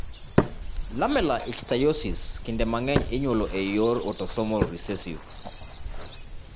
Lamellar ichthyosis kinde mang'eny inyuolo e yor autosomal recessive.